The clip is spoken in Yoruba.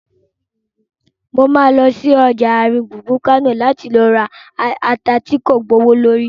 Mo ma lọ sí ọjà àárín gbùngbùn Kánò láti ra ata tí kò gbowó lórí